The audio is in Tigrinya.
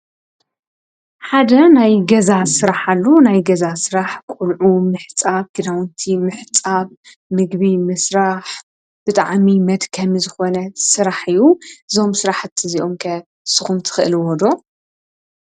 ሓደ ናይ ገዛ ሥራሕሎ ናይ ገዛ ሥራሕ ቁልዑ ምሕጻብ ጊዳዉንቲ ምሕጻብ ምግቢ ምሥራሕ ብጥዓሚ መድ ከሚ ዝኾነ ሥራሕ እዩ ዞም ሥራሕቲ ዚኦምቀ ስኹምቲ ኽእል ዎዶ